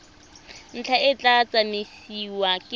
ntlha e tla tsamaisiwa ke